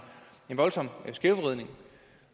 voldsom skævvridning